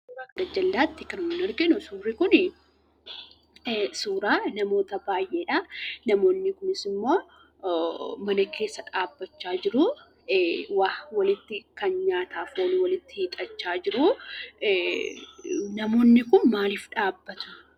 Suuraa gajjallaatti kan nuun arginu suurri kuni suuraa namoota baay'eedha. Namoonni kunis immoo mana keessa dhaabbachaa jiruu. Waa nyaataaf kan oolu walitti hiixachaa jiruu. Namoonni kun maaliif dhaabbatu?